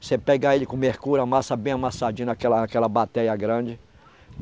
Você pega ele com mercúrio, amassa bem amassadinho naquela aquela bateia grande.